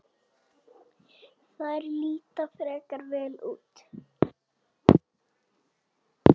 Þær líta frekar vel út.